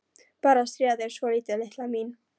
Bara að stríða þér svolítið, litla mín.